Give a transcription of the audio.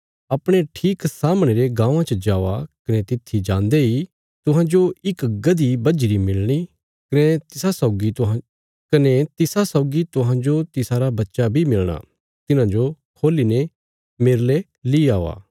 अपणे ठीक सामणे रे गाँवां च जावा कने तित्थी जान्दे इ तुहांजो इक गधी बझीरी मिलणी कने तिसा सौगी तुहांजो तिसारा बच्चा बी मिलणा तिन्हाजो खोल्ली ने मेरले ली औआ